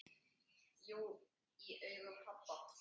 Jú, í augum pabba